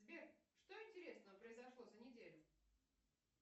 сбер что интересного произошло за неделю